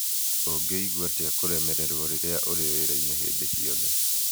Ũngĩigua atĩa kũrũmererwo rĩrĩa ũrĩ wĩra-inĩ hĩndĩ ciothe?